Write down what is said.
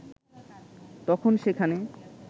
তখন সেখানে